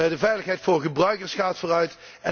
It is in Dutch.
De veiligheid voor gebruikers gaat vooruit.